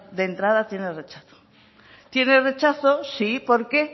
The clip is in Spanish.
de entrada tiene rechazo tiene rechazo sí por qué